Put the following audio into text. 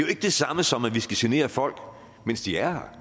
det samme som at vi skal genere folk mens de er